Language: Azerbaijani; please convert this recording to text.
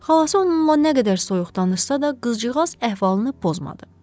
Xalası onunla nə qədər soyuq danışsa da, qızcığaz əhvalını pozmadı.